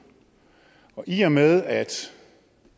og i og med at